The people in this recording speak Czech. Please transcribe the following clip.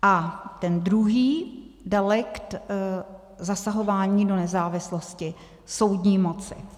A ten druhý delikt - zasahování do nezávislosti soudní moci.